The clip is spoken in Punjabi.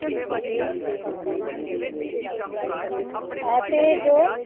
ਆ ਤਾ ਜੋ